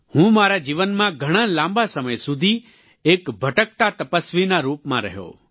હું મારા જીવનમાં ઘણાં લાંબા સમય સુધી એક ભટકતા તપસ્વીના રૂપમાં રહ્યો